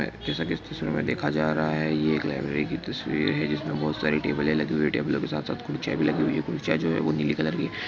जैसा की इस चित्र मैं देखा जा रहा हैं यह एक लाइब्रेरी की तस्वीर हैं जिसमे बहुत सारी टेब्ले लगी हुई हैं।